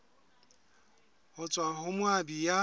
ho tswa ho moabi ya